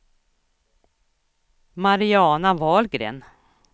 Mariana Wahlgren